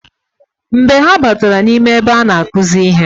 Mgbe ha batara na ime ebe ana akuzi ihe.